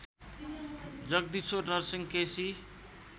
Jagdishwar Narsingh KC